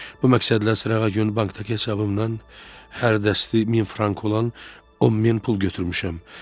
Bu məqsədlə sırağa gün bankdakı hesabımdan hər dəsti min frank olan 10 min pul götürmüşəm.